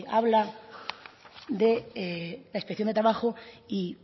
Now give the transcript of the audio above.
habla de la inspección de trabajo y